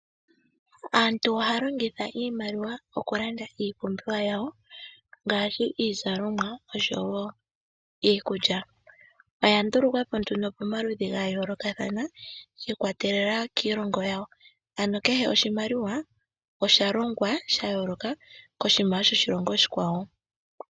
Aantu ohaya longitha iimaliwa okulanda iipumbiwa yawo, ngaashi iizalomwa noshowo iikulya. Oya ndulukwapo nduno pamaludhi gayoolokathana, shi ikwatelela kiilongo yawo. Ano kehe oshimaliwa osha longwa sha yooloka koshimaliwa shoshilongo oshikwawo.